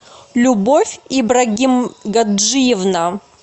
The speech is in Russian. любовь ибрагим гаджиевна